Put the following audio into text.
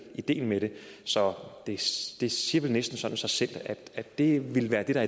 ideen med det så det siger vel næsten sådan sig selv at det vil være det der